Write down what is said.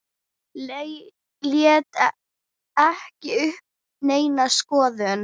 Lét ekki uppi neina skoðun.